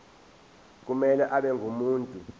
kumele abe ngumuntu